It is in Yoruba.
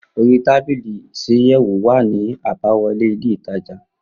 Orí tábìlì isàyèwò wà ní àbá wọlé ilé ìtajà